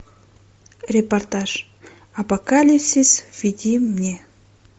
репортаж апокалипсис введи мне